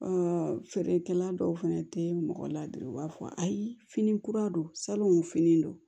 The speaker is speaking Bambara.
feerekɛla dɔw fɛnɛ tɛ mɔgɔ ladon u b'a fɔ ayi fini kura don salon fini don